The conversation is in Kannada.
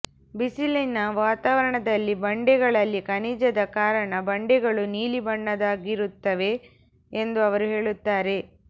ಬಿಸಿಲಿನ ವಾತಾವರಣದಲ್ಲಿ ಬಂಡೆಗಳಲ್ಲಿ ಖನಿಜದ ಕಾರಣ ಬಂಡೆಗಳು ನೀಲಿ ಬಣ್ಣದ್ದಾಗಿರುತ್ತವೆ ಎಂದು ಅವರು ಹೇಳುತ್ತಾರೆ